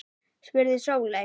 spurði Sóley